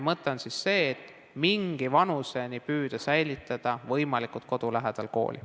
Mõte on see, et mingi vanuseni püüda säilitada kooli võimalikult kodu lähedal.